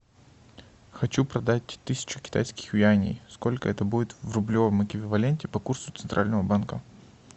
хочу продать тысячу китайских юаней сколько это будет в рублевом эквиваленте по курсу центрального банка